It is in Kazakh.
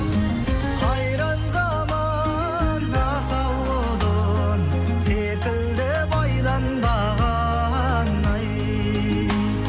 қайран заман асау құлын секілді байланбаған ай